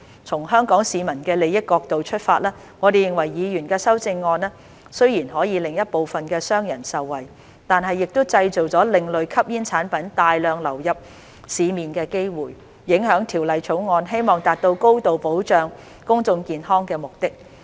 從香港市民的利益角度出發，我們認為議員的修正案雖然可令一部分的商人受惠，但亦製造另類吸煙產品大量流入市面的機會，影響《條例草案》希望達到高度保障公眾健康的目的。